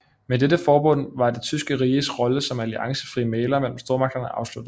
Med dette forbund var det tyske riges rolle som alliancefri mægler mellem stormagterne afsluttet